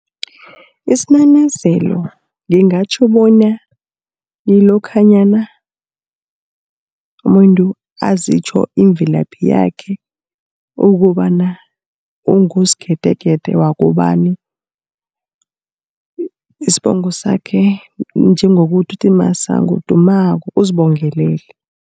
Isinanazelo ngingatjho bona ngilokhanyana umuntu azitjho imvelaphi yakhe, ukobana ungusgedegede wakobani, isibongo sakhe njengokuthi uthi Masango, Dumako uzibongelele.